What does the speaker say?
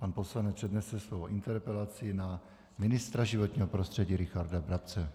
Pan poslanec přednese svou interpelaci na ministra životního prostředí Richarda Brabce.